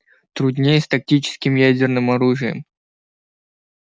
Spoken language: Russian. труднее с тактическим ядерным оружием